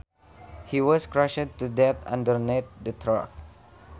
He was crushed to death underneath the truck